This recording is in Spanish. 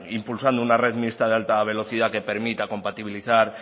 impulsando una red mixta de alta velocidad que permita compatibilizar